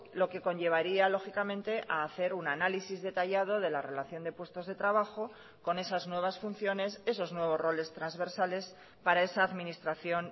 lo que conllevaría lógicamente a hacer un análisis detallado de la relación de puestos de trabajo con esas nuevas funciones esos nuevos roles transversales para esa administración